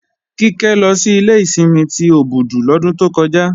Kíkẹ́ lọ sí ilé ìsinmi ti Òbùdù lọ́dún tó kọjá